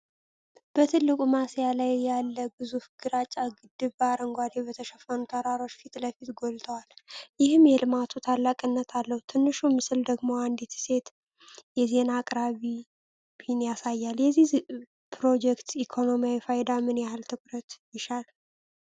በትልቁ ማሳያ ላይ ያለ ግዙፍ ግራጫ ግድብ በአረንጓዴ በተሸፈኑ ተራሮች ፊት ለፊት ጎልቶዋል፤ ይህም የልማቱን ታላቅነት አለው። ትንሹ ምስል ደግሞ አንዲት ሴት የዜና አቅራቢን ያሳያል። የዚህ ፕሮጀክት ኢኮኖሚያዊ ፋይዳ ምን ያህል ትኩረት ይሻል?